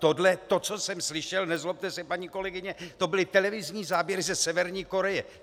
Tohle, to, co jsem slyšel, nezlobte se, paní kolegyně, to byly televizní záběry ze Severní Koreje!